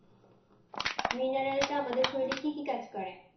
mineral টা আমাদের শরীরে কি কি কাজ করে?